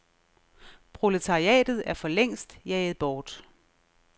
Proletariatet er for længst jaget bort.